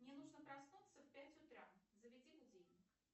мне нужно проснуться в пять утра заведи будильник